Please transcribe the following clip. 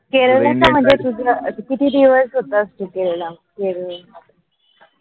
किती वाजता किती दिवस होतास तू केरला?